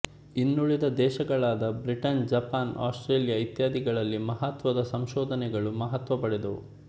ಇನ್ನುಳಿದ ದೇಶಗಳಾದ Britain Japan Australia ಇತ್ಯಾದಿಗಳಲ್ಲಿ ಮಹತ್ವದ ಸಂಶೋಧನೆಗಳು ಮಹತ್ವ ಪಡೆದವು